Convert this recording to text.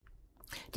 DR1